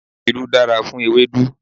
Irú dára fún ewédú.